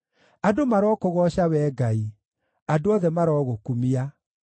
Andũ marokũgooca, Wee Ngai; andũ othe marogũkumia.